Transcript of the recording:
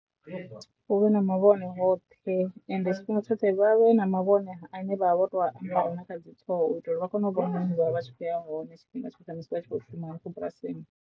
Hu vhe na mavhone hoṱhe ende tshifhinga tshoṱhe vha vhe na mavhone a ne vha vha vho to na kha dzi ṱhoho u itela uri vha kone u vha hone vha tshi khou ya hone tshifhinga tshoṱhe musi vha tshi khou shuma hafho bulasini.